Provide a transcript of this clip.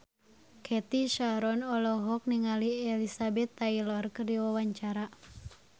Cathy Sharon olohok ningali Elizabeth Taylor keur diwawancara